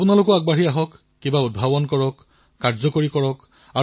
আপোনালোকে আগবাঢ়ি আহক উদ্ভাৱন কৰক প্ৰণয়ন কৰক